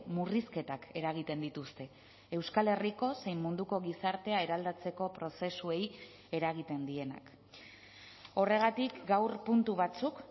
murrizketak eragiten dituzte euskal herriko zein munduko gizartea eraldatzeko prozesuei eragiten dienak horregatik gaur puntu batzuk